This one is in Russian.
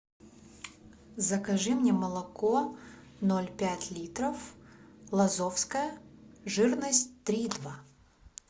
закажи мне молоко ноль пять литров лазовское жирность три и два